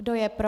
Kdo je pro?